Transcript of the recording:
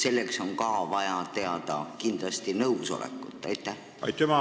Miks on nende töötlemiseks kindlasti vaja nõusolekut enne inimese surma?